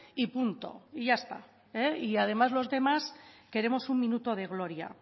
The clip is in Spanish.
y punto y ya está y además los demás queremos un minuto de gloria